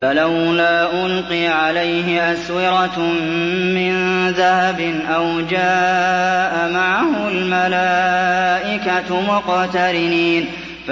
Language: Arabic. فَلَوْلَا أُلْقِيَ عَلَيْهِ أَسْوِرَةٌ مِّن ذَهَبٍ أَوْ جَاءَ مَعَهُ الْمَلَائِكَةُ مُقْتَرِنِينَ